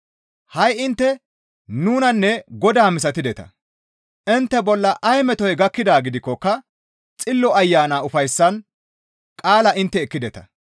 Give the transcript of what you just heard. Ha7i intte nunanne Godaa misatideta; intte bolla ay metoy gakkidaa gidikkoka Xillo Ayana ufayssan qaalaa intte ekkideta.